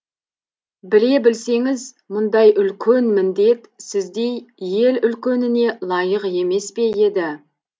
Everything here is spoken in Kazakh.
біле білсеңіз мұндай үлкен міндет сіздей ел үлкеніне лайық емес пе еді